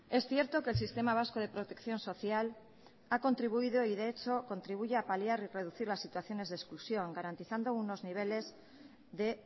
es cierto que el sistema vasco de protección social ha contribuido y de hecho contribuye a paliar y reducir las situaciones de exclusión garantizando unos niveles de